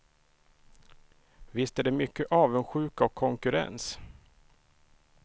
Visst är det mycket avundsjuka och konkurrens.